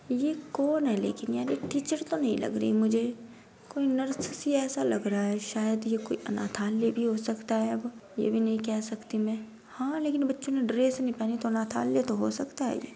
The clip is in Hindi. ये कौन है? लेकिन यार ये टीचर तो नही लग रही मुझे। कोई नर्स सी ऐसा लग रहा है। शायद ये कोई अनाथालय भी हो सकता है। अब ये भी नहीं कह सकती मैं। हाँ लेकिन बच्चे ने ड्रेस भी नहीं पहनी तो अनाथालय तो हो सकता है।